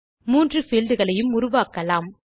3 fieldகளை உருவாக்கலாம்